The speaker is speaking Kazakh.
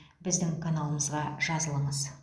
біздің каналымызға жазылыңыз